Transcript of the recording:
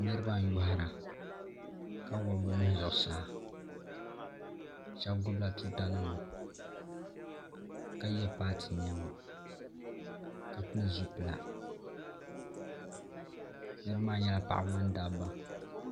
Niriba n yohira. ka wuɣi bɛ nuhu zuɣu saa. Sheba gbubi la tuutanima ka ye paati niema ka pili zupila. Niraba maa nyela paɣaba ni dabba.